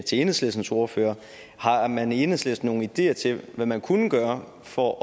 til enhedslistens ordfører er har man i enhedslisten nogle ideer til hvad man kunne gøre for